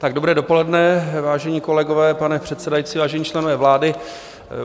Dobré dopoledne, vážení kolegové, pane předsedající, vážení členové vlády.